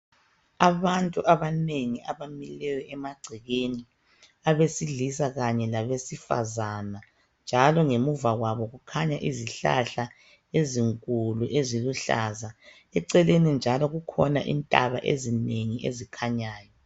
Abantu abanengi abamileyo emagcekeni abesilisa kanye labesifazana njalo ngemuva kwabo kukhanya izihlahla ezinkulu eziluhlaza eceleni njalo kukhona intaba ezinengi ezikhanyayo